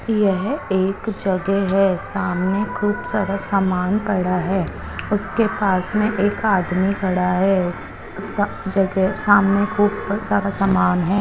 येह एक जगे है सामने खूब सारा सामान पड़ा है उसके पास में एक आदमी खड़ा है सा ज्गह सामने खूब सारा समान है।